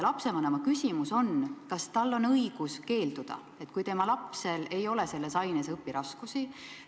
Lapsevanem küsib, kas tal on õigus keelduda, kui tema lapsel ei ole selles aines õpiraskusi.